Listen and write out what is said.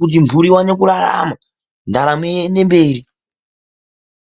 kuti mhuri iwane kurarama, ndaramo iyendemberi.